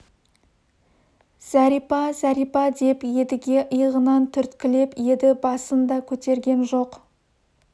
зәрипа зәрипа деп едіге иығынан түрткілеп еді басын да көтерген жоқ